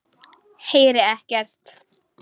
Heyri ekkert.